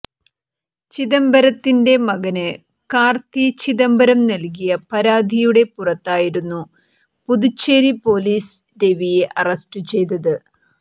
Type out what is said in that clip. ചിദംബരത്തിന്റെ മകന് കാര്ത്തി ചിദംബരം നല്കിയ പരാതിയുടെ പുറത്തായിരുന്നു പുതുച്ചേരി പോലീസ് രവിയെ അറസ്റ്റ് ചെയ്തത്